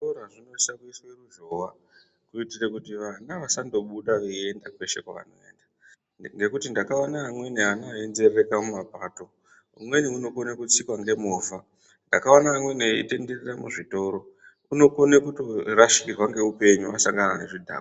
Zvikora zvinosisa kuiswe ruzhova kuitire kuti vana vasangobuda vaenda kweshe kwavanoenda. Ngekuti ndakaona amweni ana einzerereka mumapato umweni unokona kutsikwa ngemovha. Ndakaona amweni eitenderera muzvitoro unokona kuto rasikirwa ngeupenyu asangana nezvidhakwa.